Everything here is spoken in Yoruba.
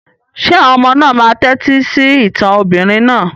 Ṣé àwọn ọmọ náà máa fetí sí ìtàn obìnrin náà?